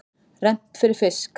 Rennt fyrir fisk.